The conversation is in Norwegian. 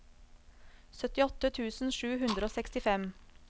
syttiåtte tusen sju hundre og sekstifem